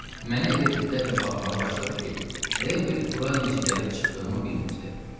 Mənə elə diqqətlə baxmağa başladı ki, elə bil bura necə gəlib çıxdığımı bilmirdi.